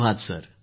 धन्यवाद भाऊ